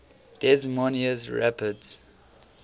des moines rapids